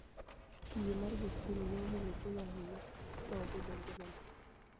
Yie mar jachieni ni e omulo chuniya ahiniya , ma obedo nigimania.